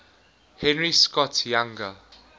henry scott's younger